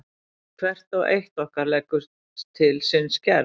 Hvert og eitt okkar leggur til sinn skerf.